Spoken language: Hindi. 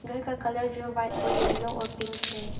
घर का कलर जो व्हाइट और येलो और पिंक है।